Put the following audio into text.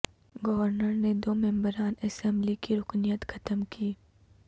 governor نے دو ممبران اسمبلی کی رکنیت ختم کی